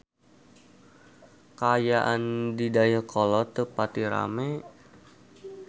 Kaayaan di Dayeuhkolot teu pati rame